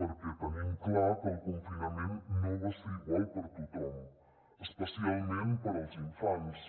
perquè tenim clar que el confinament no va ser igual per a tothom especialment per als infants